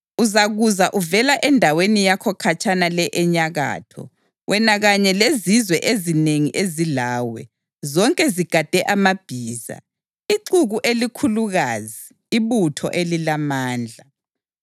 Uzakuza uvela endaweni yakho khatshana le enyakatho, wena kanye lezizwe ezinengi ezilawe, zonke zigade amabhiza, ixuku elikhulukazi, ibutho elilamandla.